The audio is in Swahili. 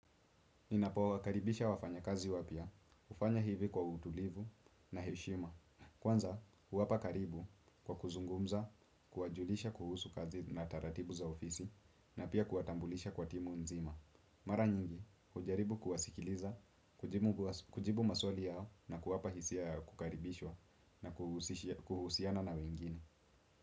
Ninapowakaribisha wafanyakazi wapya, hufanya hivi kwa utulivu na heshima. Kwanza, huwapa karibu kwa kuzungumza, kuwajulisha kuhusu kazi na taratibu za ofisi na pia kuwatambulisha kwa timu nzima. Mara nyingi, hujaribu kuwasikiliza, kujibu maswali yao na kuwapa hisia ya kukaribishwa na kuhusiana na wengine.